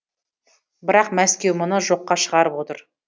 бірақ мәскеу мұны жоққа шығарып отыр